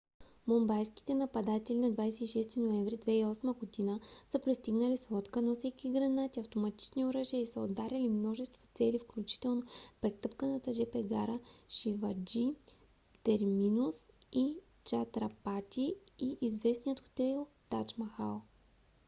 мумбайските нападатели на 26 ноември 2008 г. са пристигнали с лодка носейки гранати автоматични оръжия и са ударили множество цели включително претъпканата жп гара шиваджи терминус в чатрапати и известния хотел тадж махал